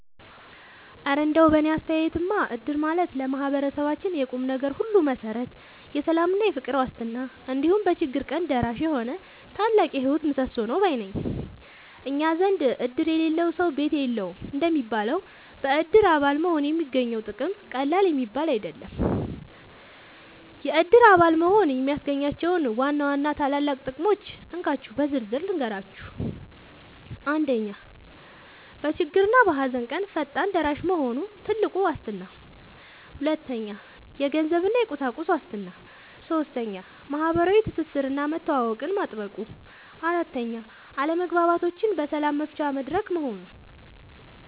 እረ እንደው በእኔ አስተያየትማ እድር ማለት ለማህበረሰባችን የቁምነገር ሁሉ መሠረት፣ የሰላምና የፍቅር ዋስትና፣ እንዲሁም በችግር ቀን ደራሽ የሆነ ታላቅ የህይወት ምሰሶ ነው ባይ ነኝ! እኛ ዘንድ "እድር የሌለው ሰው ቤት የለውም" እንደሚባለው፣ በእድር አባል መሆን የሚገኘው ጥቅም ቀላል የሚባል አይደለም። የእድር አባል መሆን የሚያስገኛቸውን ዋና ዋና ታላላቅ ጥቅሞች እንካችሁ በዝርዝር ልንገራችሁ፦ 1. በችግርና በሃዘን ቀን ፈጣን ደራሽ መሆኑ (ትልቁ ዋስትና) 2. የገንዘብና የቁሳቁስ ዋስትና 3. ማህበራዊ ትስስርና መተዋወቅን ማጥበቁ 4. አለመግባባቶችን በሰላም መፍቻ መድረክ መሆኑ